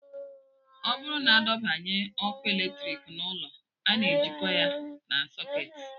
Ọ bụrụ na adọbanye ọkụ eletrik n'ụlọ, a na-ejikọta ha na sakiut